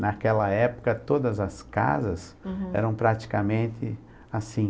Naquela época, todas as casas, uhum, eram praticamente assim.